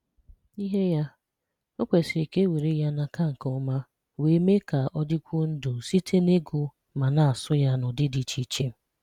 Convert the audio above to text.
N’ìhè̀ ya, ọ̀ kwesị̀rì ka e wéré ya n’akà nké ọmà, wee meè ka ọ̀ dị̀kwùò ndù̀ sị̀tè n’ị́gụ̀ ma na-àsụ̀ ya n’ụ̀dị̀ dị̀ ichè ichè